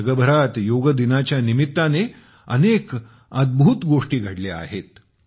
जगभरात योग दिनाच्या निमित्ताने अनेक अद्भुत गोष्टी घडल्या आहेत